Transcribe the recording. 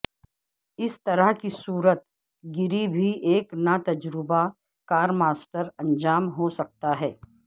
اس طرح کی صورت گری بھی ایک ناتجربہ کار ماسٹر انجام ہو سکتا ہے